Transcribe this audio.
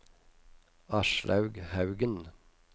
Aslaug Haugen